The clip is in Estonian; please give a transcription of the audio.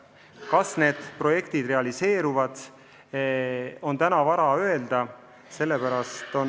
Kas need projektid realiseeruvad, on täna vara öelda.